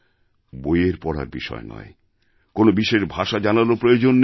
বইয়ের পড়ার বিষয় নয় এজন্য কোনও বিশেষ ভাষা জানারও প্রয়োজন নেই